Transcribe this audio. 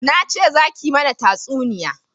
Na ce za ki mana tatsuniya